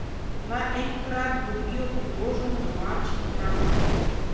Naj enkrat dobijo priložnost domači igralci.